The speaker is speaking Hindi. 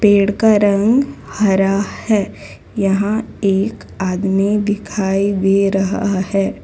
पेड़ का रंग हरा है यहां एक आदमी दिखाई दे रहा है।